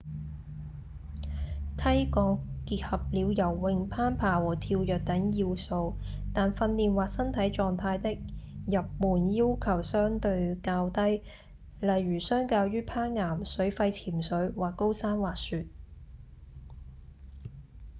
溪降結合了游泳、攀爬和跳躍等要素但訓練或身體狀態的入門要求相對較低例如相較於攀岩、水肺潛水或高山滑雪